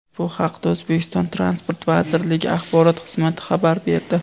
Bu haqda O‘zbekiston Transport vazirligi axborot xizmati xabar berdi .